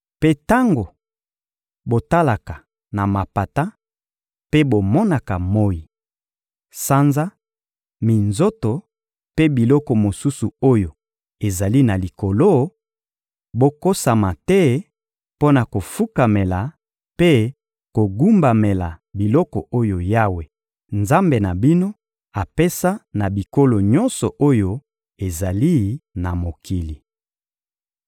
Mpe tango botalaka na mapata mpe bomonaka moyi, sanza, minzoto mpe biloko mosusu oyo ezali na likolo, bokosama te mpo na kofukamela mpe kogumbamela biloko oyo Yawe, Nzambe na bino, apesa na bikolo nyonso oyo ezali na mokili.